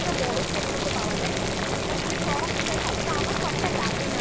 বড়ো shade মতো পাওয়া যায় সেটার মধ্যে সবটা থাকে। তো আমার সবটা লাগেনা। আমি use